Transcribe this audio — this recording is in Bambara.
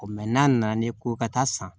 O n'a nana ne ko ka taa san